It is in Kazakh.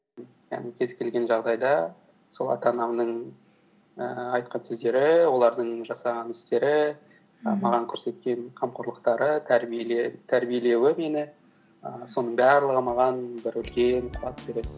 яғни кез келген жағдайда сол ата анамның ііі айтқан сөздері олардың жасаған істері маған көрсеткен қамқорлықтары тәрбиелеуі мені ііі соның барлығы маған бір үлкен қуат береді